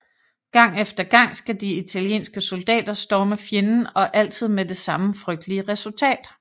Gang efter gang skal de italienske soldater storme fjenden og altid med det samme frygtelige resultat